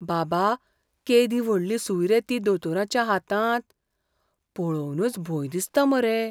बाबा, केदी व्हडली सूय रे ती दोतोराच्या हातांत! पळोवनच भंय दिसता मरे.